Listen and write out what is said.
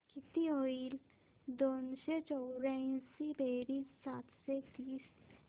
किती होईल दोनशे चौर्याऐंशी बेरीज सातशे तीस